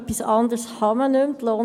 – Etwas anderes ist nicht möglich.